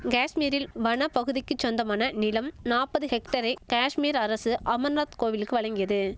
கேஷ்மீரில் வனப்பகுதிக்குச் சொந்தமான நிலம் நாப்பது ஹெக்டரை கேஷ்மீர் அரசு அமர்நாத் கோவிலுக்கு வழங்கியது